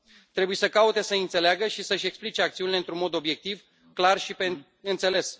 Trebuie să caute să i înțeleagă și să și explice acțiunile într un mod obiectiv, clar și pe înțeles.